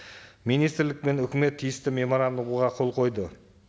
министрлік пен өкімет тиісті меморандумға қол қойды